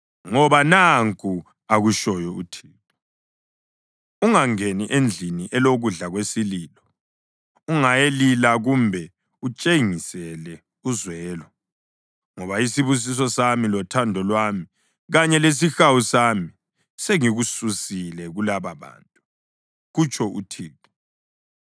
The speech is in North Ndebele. Ngoba nanku akutshoyo uThixo: “Ungangeni endlini elokudla kwesililo; ungayilila kumbe utshengisele uzwelo, ngoba isibusiso sami, lothando lwami kanye lesihawu sami, sengikususile kulababantu,” kutsho uThixo.